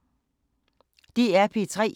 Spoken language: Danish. DR P3